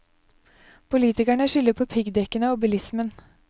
Politikerne skylder på piggdekkene og bilismen.